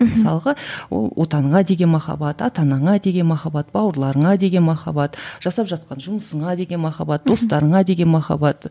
мхм мысалға ол отаныңа деген махаббат ата анаңа деген махаббат бауырларыңа деген махаббат жасап жатқан жұмысыңа деген махаббат достарыңа деген махаббат